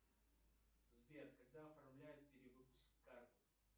сбер когда оформляют перевыпуск карты